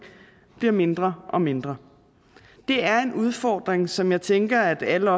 bliver mindre og mindre det er en udfordring som jeg tænker at alle